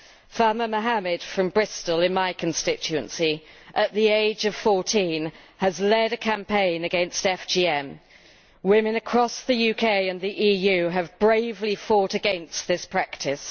Fahma Mohamed from Bristol in my constituency, at the age of 14, has led a campaign against FGM. Women across the UK and the EU have bravely fought against this practice.